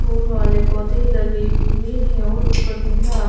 फूल वाले पौधे लगे हुए हैं ओर ऊपर नीला आसमान--